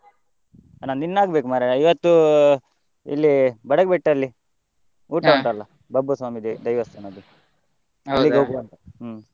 ನಂದಿನ್ನು ಆಗ್ಬೇಕು ಮಾರಾಯ, ಇವತ್ತು, ಇಲ್ಲಿ Badagubettu ಅಲ್ಲಿ ಬಬ್ಬುಸ್ವಾಮಿ ದೇ~ ದೈವಸ್ಥಾನದು ಹ್ಮ್.